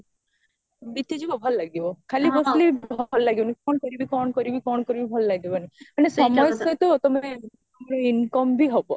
ବିତିଯିବ ଭଲ ଲାଗିବ ଖାଲି ବାସବିଲେ ବି ଭଲ ଲାଗିବନି କଣ କରିବି କଣ କରିବି କଣ କରିବି ଭଲ ଲାଗିବନି ମାନେ ସମୟ ସହିତ ତମେ income ବ ଇ ହବ